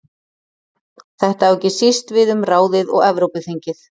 Þetta á ekki síst við um ráðið og Evrópuþingið.